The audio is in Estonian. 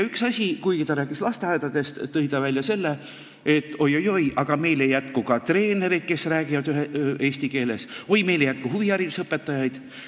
Üks asi oli see, et kuigi ta rääkis lasteaedadest, tõi ta välja, et oi-oi-oi, aga meil ei jätku ka treenereid, kes räägivad eesti keeles, või meil ei jätku huviharidusõpetajaid.